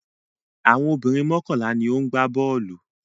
Àwọn obìnrin mọ́kànlá ni ó ń gbá bọ́ọ́lù.